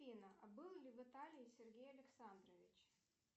афина а был ли в италии сергей александрович